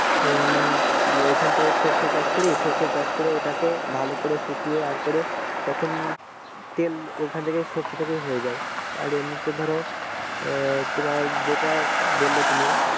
উম এইখানটাই সরষে চাষ করি সরষে চাষ করে ওটাকে ভালো করে শুকিয়ে আর করে তখন তেল ঐখান থেকে সরষে হয়ে যাই আর এমনিতে ধরো আহ তোমার যেটা বললে তুমি